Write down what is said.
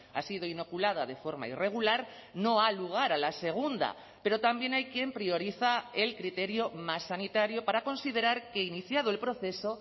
ha sido inoculada de forma irregular no ha lugar a la segunda pero también hay quien prioriza el criterio más sanitario para considerar que iniciado el proceso